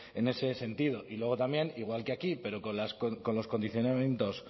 en ese sentido y luego también igual que aquí pero con los condicionamientos